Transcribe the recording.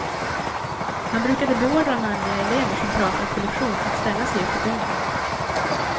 Han brukade beordra manliga elever som pratat på lektion att ställa sig upp i gången.